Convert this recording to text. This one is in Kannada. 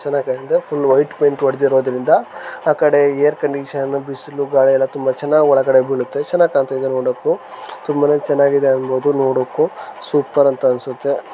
ಚೆನಗಾಗಿದೆ ಫುಲ್ ವೈಟ್ ಪೈಂಟ್ ಹೊಡೆದಿರೋದ್ರಿಂದ ಆಕಡೆ ಏರ್ ಕಂಡೀಶನ್ ಬಿಸಿಲು ಗಾಳಿ ಎಲ್ಲ ತುಂಬ ಚೆನ್ನಾಗಿ ಒಳಗಡೆ ಬೀಳುತ್ತೆ ಚೆನ್ನಾಗಿ ಕಾಣ್ತ್ ಇದೆ ನೋಡೋಕು ತುಂಬಾನೇ ಚೆನ್ನಾಗಿದೆ ಅನ್ಬಹುದು ನೋಡೋಕು ಸೂಪರ್ ಅಂತ ಅನ್ಸುತ್ತೆ.